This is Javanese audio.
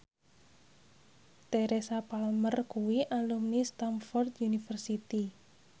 Teresa Palmer kuwi alumni Stamford University